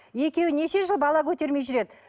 екеуі неше жыл бала көтермей жүреді